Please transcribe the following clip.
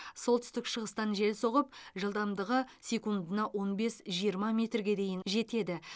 солтүстік шығыстан жел соғып жылдамдығы секундына он бес жиырма метрге дейін жетеді